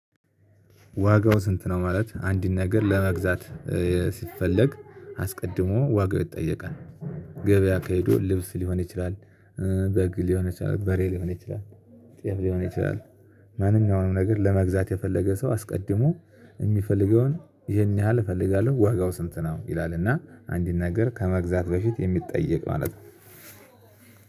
ዋጋው ስንት ነው? ማለት አንድን ነገር ለመግዛት ሲፈለግ አስቀድሞ ዋጋው ይጠየቃል። ገበያ ከሄዶ ልብስ ሊሆን ይችላል። በግ ሊሆን ይችላል በሬ ሊሆን ይችላል። ጤፍ ሊሆን ይችላል። ማንኛውም ነገር ለመግዛት የፈለገ ሰው አስቀድሞ የሚፈልገውን ይሄን ያህል እፈልጋለሁ ዋጋው ስንት ነው? ይላልና አንድን ነገር ከመግዛት በፊት የሚጠየቅ ማለት ነው።